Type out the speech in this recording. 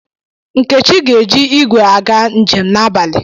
Nkechi ga-eji igwe aga njem n'abalị.